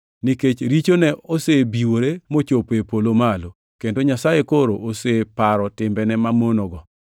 nikech richone osebiwore mochopo e polo malo, kendo Nyasaye koro oseparo timbene mamonogo.